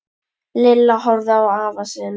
Lilla horfði á afa sinn.